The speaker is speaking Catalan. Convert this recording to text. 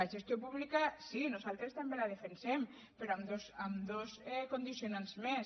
la gestió pública sí nosaltres també la defensem però amb dos condicionants més